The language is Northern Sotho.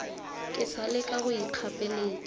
ke sa leka go ikgapeletša